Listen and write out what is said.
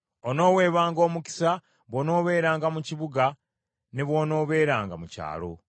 Onooweebwanga omukisa bw’onoobeeranga mu kibuga ne bw’onoobeeranga mu kyalo.